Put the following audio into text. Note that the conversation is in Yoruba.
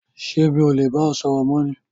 ṣé mi ò le bá ẹ sọ̀rọ̀ mọ́ ni?